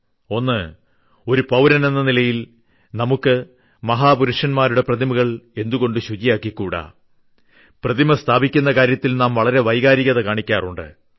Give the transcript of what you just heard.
ഒന്ന് ഒരു പൌരനെന്ന നിലയിൽ നമുക്ക് മഹാപുരുഷന്മാരുടെ പ്രതിമകൾ എന്തുകൊണ്ട് ശുചിയാക്കിക്കൂടാ പ്രതിമ സ്ഥാപിക്കുന്ന കാര്യത്തിൽ നാം വളരെ വൈകാരികത കാണിക്കാറുണ്ട്